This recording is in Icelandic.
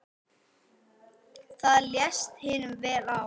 Það leist hinum vel á.